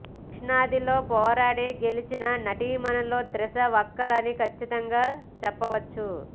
దక్షిణాదిలో పోరాడి గెలిచిన నటీమణుల్లో త్రిష ఒకరని కచ్చితంగా చెప్పవచ్చు